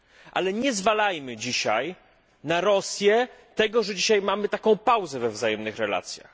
Ale nie zrzucajmy dzisiaj na Rosję tego, że mamy obecnie taką pauzę we wzajemnych relacjach.